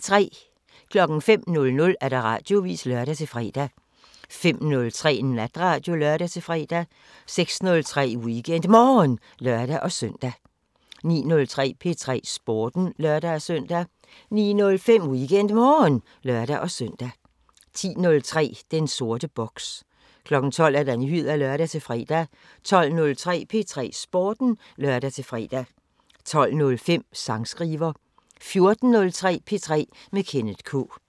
05:00: Radioavisen (lør-fre) 05:03: Natradio (lør-fre) 06:03: WeekendMorgen (lør-søn) 09:03: P3 Sporten (lør-søn) 09:05: WeekendMorgen (lør-søn) 10:03: Den sorte boks 12:00: Nyheder (lør-fre) 12:03: P3 Sporten (lør-fre) 12:05: Sangskriver 14:03: P3 med Kenneth K